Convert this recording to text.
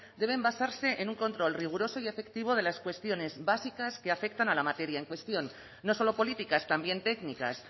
deben basarse en un control riguroso y efectivo de las cuestiones básicas que afectan a la materia en cuestión no solo políticas también técnicas